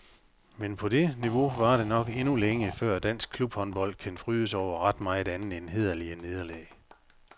Men på det niveau varer det nok endnu længe, før dansk klubhåndbold kan fryde sig over ret meget andet end hæderlige nederlag.